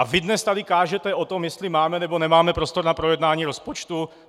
A vy dnes tady kážete o tom, jestli máme nebo nemáme prostor na projednání rozpočtu?